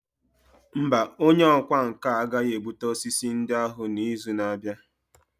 Mba, onye ọkwá nkà agaghị ebute osisi ndị ahụ n'izu na-abịa.